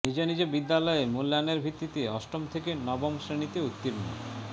নিজ নিজ বিদ্যালয়ে মূল্যায়নের ভিত্তিতে অষ্টম থেকে নবম শ্রেণিতে উত্তীর্ণ